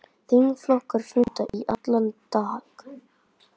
Þingflokkar funda í allan dag